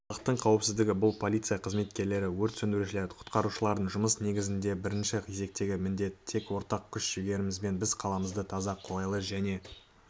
халықтың қауіпсіздігі бұл полиция қызметкерлері өрт сөндірушілер құтқарушылардың жұмыс негізіндегі бірінші кезектегі міндет тек ортақ күш-жігерімізбен біз қаламызды таза қолайлы және